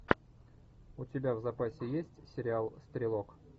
у тебя в запасе есть сериал стрелок